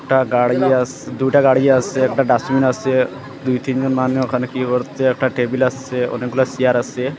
একটা গাড়ি আস দুইটা গাড়ি আসে একটা ডাস্টবিন আসে দুই তিনজন মানুষ ওখানে কী করছে একটা টেবিল আসে অনেকগুলা চেয়ার আসে।